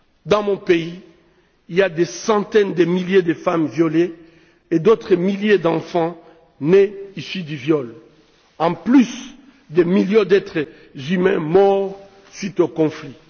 Dans mon pays, il y a des centaines de milliers de femmes violées et d'autres milliers d'enfants issus du viol, en plus des millions d'êtres humains morts à cause des conflits.